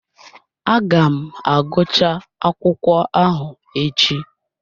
Aga m agụchaa akwụkwọ ahụ echi